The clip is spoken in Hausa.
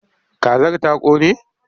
Kazar ta ƙone?